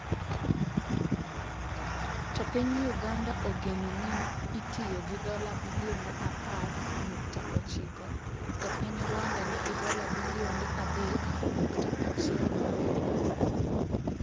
To piny Uganda ogeno ni itiyo gi dola bilionde apar nukta ochiko to piny Rwanda nigi dola bilionde 3.17.